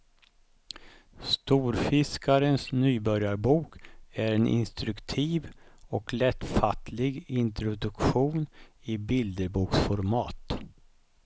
Storfiskarens nybörjarbok är en instruktiv och lättfattlig introduktion i bilderboksformat.